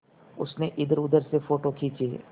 उसने इधरउधर से फ़ोटो खींचे